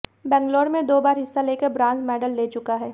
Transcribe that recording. बैंगलोर में दो बार हिस्सा लेकर ब्रांज मैडल ले चुका है